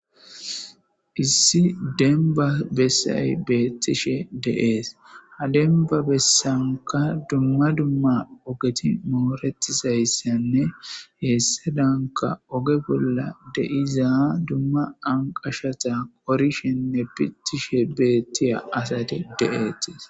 issi denba bessay beettishe deees ha denba bessanka dumma dumma ogeti mooretizayssenne heessadanka oge bolla deiza dumma anqashata qorishenne pitishe beettiya asati de7eetiis